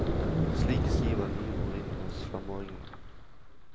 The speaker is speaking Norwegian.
Slik siver nye ord inn hos femåringene.